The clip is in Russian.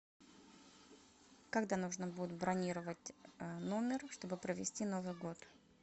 когда нужно будет бронировать номер чтобы провести новый год